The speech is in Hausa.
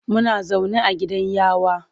Muna zaune a gidan yawa.